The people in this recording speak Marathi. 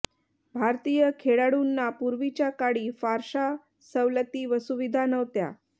भारतीय खेळाडूंना पूर्वीच्या काळी फारशा सवलती व सुविधा नव्हत्या